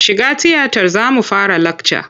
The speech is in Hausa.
Shiga tiyatar za mu fara lakca!